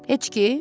Heç ki?